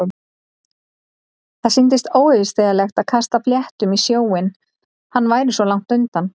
Það sýndist óyfirstíganlegt að kasta fléttum í sjóinn- hann væri svo langt undan.